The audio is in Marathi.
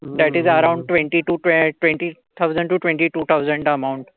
द्याटीज around twenty two twelve twenty thousand twenty two thousand amount.